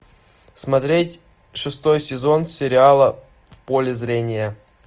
смотреть шестой сезон сериала в поле зрения